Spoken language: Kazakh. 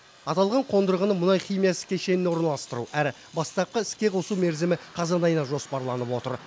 аталған қондырғыны мұнай химиясы кешеніне орналастыру әрі бастапқы іске қосу мерзімі қазан айына жоспарланып отыр